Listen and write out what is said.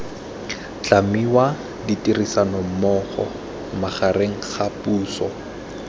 tlhamiwa ditirisanommogo magareng ga puso